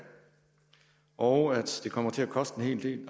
og at det kommer til at koste en hel del